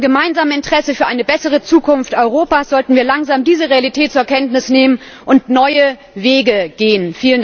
In unserem gemeinsamen Interesse, für eine bessere Zukunft Europas sollten wir langsam diese Realität zur Kenntnis nehmen und neue Wege gehen.